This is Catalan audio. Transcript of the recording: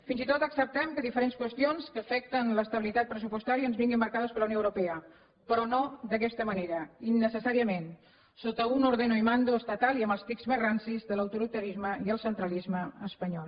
fins i tot acceptem que diferents qüestions que afecten l’estabilitat pressupostària ens vinguin marcades per la unió europea però no d’aquesta manera innecessària ment sota un ordeno y mando estatal i amb els tics més rancis de l’autoritarisme i el centralisme espanyol